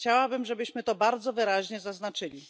Chciałabym, żebyśmy to bardzo wyraźnie zaznaczyli.